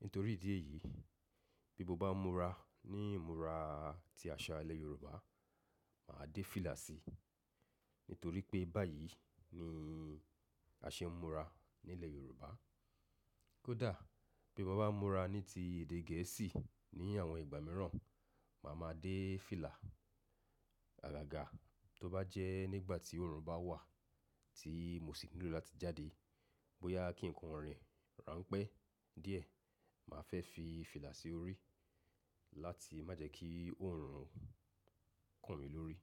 Nítorí ìdí èyí, bí mo bá múra ní ìmúra tí àṣà ilẹ̀ Yorùbá, màá dé fìlà si. Nítorí pé báyìí ni a ṣe ń múra ní ilẹ̀ Yorùbá. Kódà bí mo bá múra ní ti èdè Gẹ̀ẹ́sì ní àwọn ìgbà mìíràn, màá ma dé fìlà. Àgàgà tó bá jẹ́ nígbà tí òòrùn bá wà tí mo sì nílò láti jáde, bóyá kí ǹkan rìn, rà ń pẹ́ díẹ̀, màá fẹ́ fi fìlà sí orí láti má jẹ́ kí òòrùn kàn mí lórí.